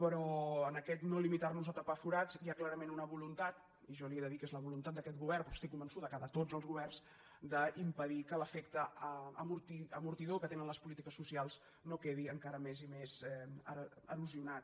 però en aquest no limitarnos a tapar forats hi ha clarament una voluntat i jo li he de dir que és la voluntat d’aquest govern però estic convençuda que de tots els governs d’impedir que l’efecte amortidor que tenen les polítiques socials no quedi encara més i més erosionat